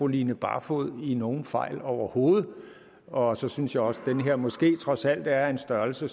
line barfoed i nogen fejl overhovedet og så synes jeg også den her måske trods alt er af en størrelse